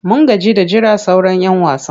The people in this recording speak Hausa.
Mun gaji da jiran sauran'yan wasan.